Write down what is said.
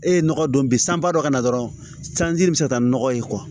E ye nɔgɔ don bi sanba dɔ kana dɔrɔn sanji bɛ se ka taa ni nɔgɔ ye